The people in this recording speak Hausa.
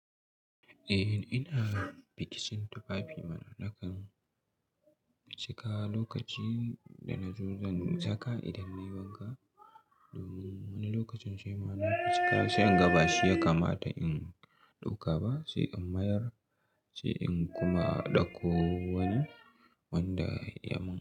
Eh ina fiticin tufafi na nakan cika lokaci dana zo zan saka idan nayi wanka domin wani lokacin sai mana cika sai in ga ba shi ya kamata in ɗauka ba sai in mayar sai in kuma ɗauko wani wanda ya mun.